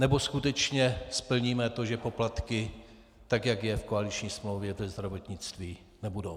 Nebo skutečně splníme to, že poplatky, tak jak je v koaliční smlouvě, ve zdravotnictví nebudou?